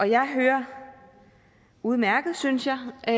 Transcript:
jeg hører udmærket synes jeg og